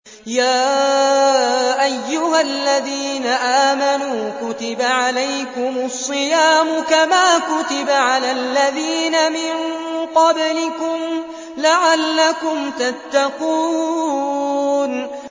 يَا أَيُّهَا الَّذِينَ آمَنُوا كُتِبَ عَلَيْكُمُ الصِّيَامُ كَمَا كُتِبَ عَلَى الَّذِينَ مِن قَبْلِكُمْ لَعَلَّكُمْ تَتَّقُونَ